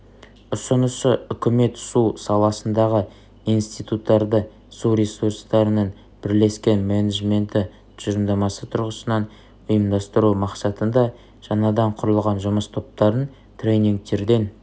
ұсынысы үкімет су саласындағы институттарды су ресурстарының бірлескен менеджменті тұжырымдамасы тұрғысынан ұйымдастыру мақсатында жаңадан құрылған жұмыс топтарын тренингтерден